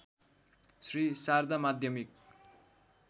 श्री शारदा माध्यमिक